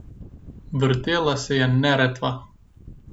Vrtela se je Neretva.